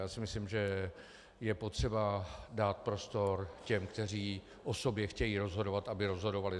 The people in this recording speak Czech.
Já si myslím, že je potřeba dát prostor těm, kteří o sobě chtějí rozhodovat, aby rozhodovali.